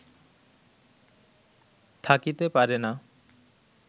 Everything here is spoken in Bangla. থাকিতে পারে না